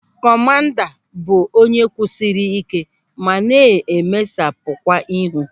Kọmanda bụ onye kwụsịrị ike ma na-emesapukwa ihu.